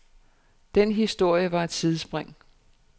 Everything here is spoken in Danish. Den historie var et sidespring.